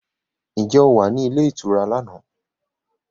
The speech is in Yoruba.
Ǹjẹ́ ò o wà ní ilé ìtura lánàá?